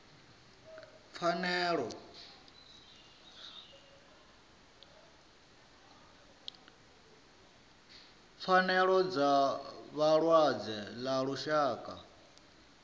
pfanelo dza vhalwadze ḽa lushaka